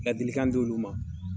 Ladilikan di olu ma.